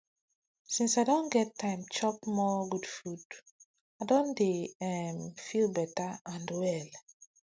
since i don get time to chop more good food i don dey um feel better and well